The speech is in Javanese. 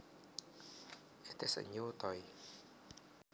It is a new toy